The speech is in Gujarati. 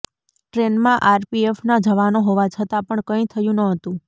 ટ્રેનમાં આરપીએફના જવાનો હોવા છતાં પણ કંઈ થયું ન હતું